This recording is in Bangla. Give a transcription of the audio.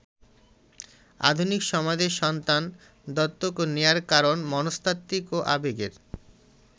আধুনিক সমাজে সন্তান দত্তক নেয়ার কারণ মনস্তাত্ত্বিক ও আবেগের।